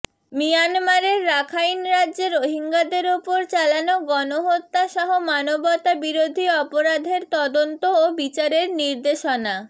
মিয়ানমারের রাখাইন রাজ্যে রোহিঙ্গাদের ওপর চালানো গণহত্যাসহ মানবতাবিরোধী অপরাধের তদন্ত ও বিচারের নির্দেশনা